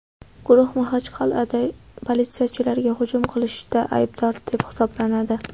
Guruh Maxachqal’ada politsiyachilarga hujum qilishda aybdor deb hisoblanadi.